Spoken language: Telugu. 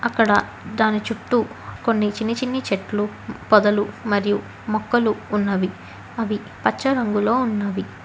ఇక్కడ దాని చుట్టూ కొన్ని చిన్ని చిన్ని చెట్లు పొదలు మరియు మొక్కలు ఉన్నవి అవి పచ్చ రంగులో ఉన్నవి.